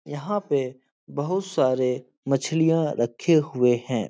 यहाँ पे बहोत सारे मछलियां रखे हुए हैं।